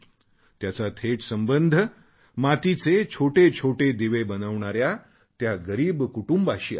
त्याचा थेट संबंध मातीचे छोटे छोटे दिवे बनविणाऱ्या त्या गरीब कुटुंबाशी आहे